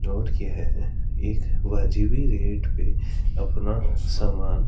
के है एक वाजिवी रेट पे अपना समान--